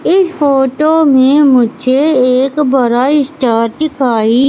इस फोटो में मुझे एक बड़ा स्टार दिखाई--